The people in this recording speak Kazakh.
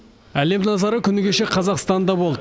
әлем назары күні кеше қазақстанда болды